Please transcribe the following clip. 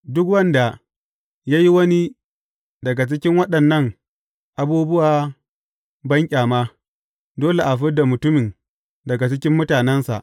Duk wanda ya yi wani daga cikin waɗannan abubuwa banƙyama, dole a fid da mutumin daga cikin mutanensa.